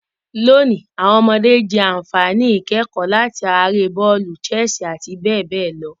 Lonìí, àwon ọmọdé je ànfàní ìkẹ̀kò láti ara eré bọ́òlù, chess àti béè néè lo